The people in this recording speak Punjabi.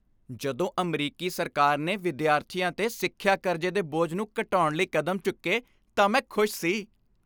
ਜਦੋਂ ਅਮਰੀਕੀ ਸਰਕਾਰ ਨੇ ਵਿਦਿਆਰਥੀਆਂ 'ਤੇ ਸਿੱਖਿਆ ਕਰਜ਼ੇ ਦੇ ਬੋਝ ਨੂੰ ਘਟਾਉਣ ਲਈ ਕਦਮ ਚੁੱਕੇ ਤਾਂ ਮੈਂ ਖੁਸ਼ ਸੀ।